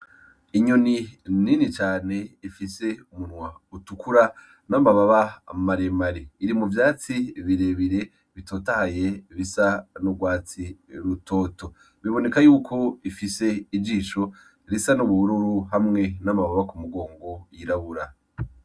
Inyoni nini cane ifise umunwa utukura n'amababa maremare iri mu vyatsi birebire bitotahaye bisa n'urwatsi rutoto biboneka yuko ifise ijisho risa n'ubururu hamwe n'amababa ku mugongo yirabura.